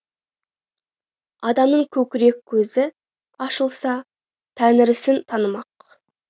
адамның көкірек көзі ашылса тәңірісін танымақ